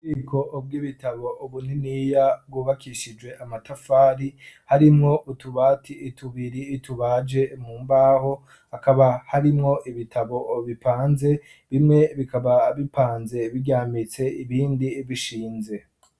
ububiko bw'ibitabo ubuniniya bwubakishije amatafari harimwo utubati itubiri itubaje mu mbaho hakaba harimwo ibitabo ubipanze bimwe bikaba bipanze biryamitse ibindi bishinze